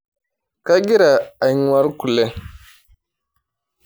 Kagira ang'war kule.